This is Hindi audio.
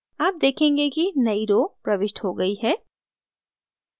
आप देखेंगे कि नई row प्रविष्ट हो गई है